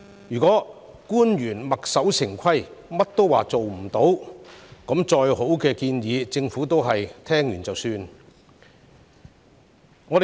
如果官員墨守成規，事事都說辦不到，即使有再好的建議，政府也只會聽過便算。